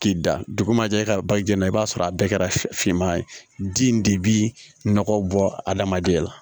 K'i da dugu ma jɛ i ka ba ji la i b'a sɔrɔ a bɛɛ kɛra finman ye den de bi nɔgɔ bɔ adamadenya la